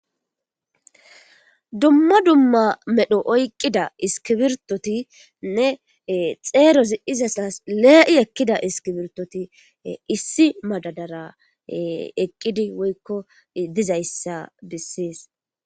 Dumma dumma medho oyqqida iskibirtotinne xeero zi7izasas lee7i ekkida iskibirtoti issi madadara eqqidi woykko dizayssa bissees.